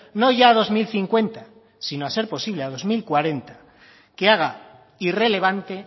no ya dos mil cincuenta sino a ser posible a dos mil cuarenta que haga irrelevante